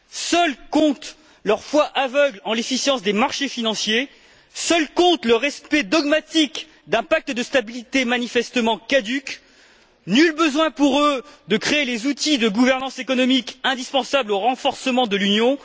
Seule compte leur foi aveugle en l'efficience des marchés financiers, seul compte le respect dogmatique d'un pacte de stabilité manifestement caduc. Nul besoin pour eux de créer les outils d'une gouvernance économique indispensable au renforcement de l'Union.